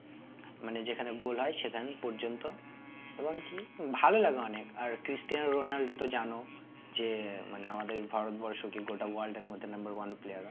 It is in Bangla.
মানে যেখানে goal হয় সেখান পর্যন্ত এবং কি ভালো লাগে অনেক আর ক্রিস্টিনো রোলান্ডো তো জানো যে মানে আমাদের ভারতবর্ষ কি গোটা world এর মধ্যে number one player